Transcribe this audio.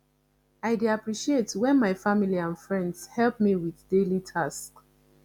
i dey appreciate when my family and friends help me with daily tasks